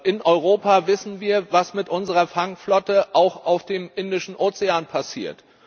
In Europa wissen wir, was mit unserer Fangflotte auf dem Indischen Ozean passiert.